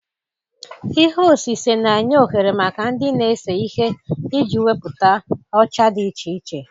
Ihe osise na-enye ohere maka ndị na-ese ihe iji wepụta ọcha dị iche iche